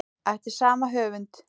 Eftir sama höfund